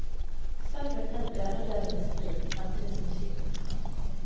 Så fulgte et øredøvende skrik samtidig som skipet forsvant.